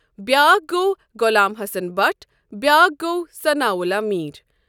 بیٛاکھ گوٚو غلام حسن بٹ بیٛاکھ گوٚو ثناءاللہ میٖر۔